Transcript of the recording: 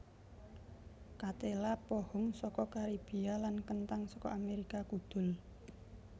Ketéla pohung saka Karibia lan kenthang saka Amérika Kudul